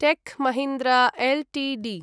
tech Mahindra Ltd